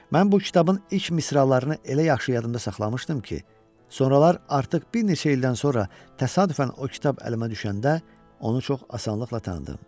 Mən bu kitabın ilk misralarını elə yaxşı yadıma saxlamışdım ki, sonralar artıq bir neçə ildən sonra təsadüfən o kitab əlimə düşəndə onu çox asanlıqla tanıdım.